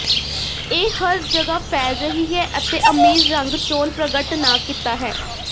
ਇਹ ਹਰ ਜਗ੍ਹਾ ਫੈਲ ਰਹੀ ਹੈ ਅਤੇ ਅਮੀਰ ਰੰਗ ਚੋਣ ਪ੍ਰਗਟ ਨਾ ਕੀਤਾ ਹੈ